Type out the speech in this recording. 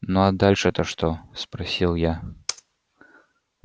ну а дальше-то что спросил я